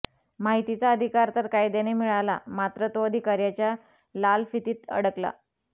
माहितीचा अधिकार तर कायद्याने मिळाला मात्र तो अधिकार्याच्या लालफितीत अडकला